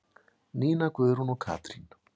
Nína Guðrún og Katrín.